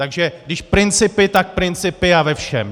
Takže když principy, tak principy a ve všem!